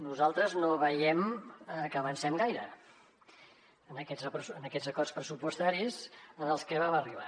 nosaltres no veiem que avancem gaire en aquests acords pressupostaris als que vam arribar